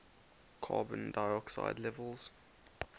carbon dioxide levels